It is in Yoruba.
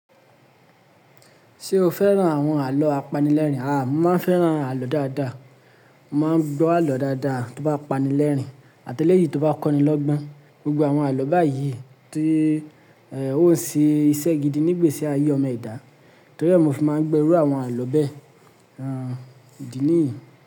Ṣé o fẹ́ràn àwọn àlọ́ apanilẹ́rìn? Aà, mo máa fẹ́ràn àlọ́ dáadáa. Mo máa ń gbọ́ àlọ́ dáadáa tó bá pani lẹ́rìn, àtẹ́lẹ́ yìí tó bá kọ́ni lọ́gbọ́n. Gbogbo àwọn àlọ́ báyìí tí, ẹ́, ó ń ṣe iṣẹ́ gidi nípa ìgbésí ayé ọmọ ẹ̀dá. Torí ẹ́, mo fi máa ń gbẹ́ ẹrú àwọn àlọ́ bẹ́ẹ̀. Aà, ìdí nìyí.